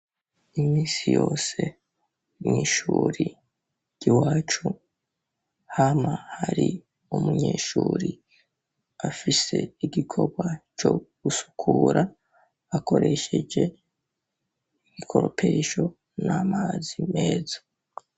Imisi yose, mw'ishure ry'iwacu, hama hari umunyeshure afise igikorwa co gusukura akoresheje igikoropesho n'amazi meza.